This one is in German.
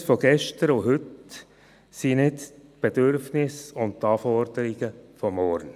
Die Bedürfnisse von gestern und heute sind nicht die Bedürfnisse und Anforderungen von morgen.